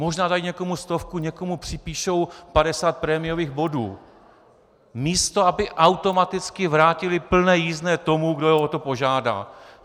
Možná dají někomu stovku, někomu připíšou 50 prémiových bodů, místo aby automaticky vrátily plné jízdné tomu, kdo je o to požádá.